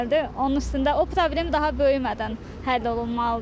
Onun üstündə o problem daha böyümədən həll olunmalıdır.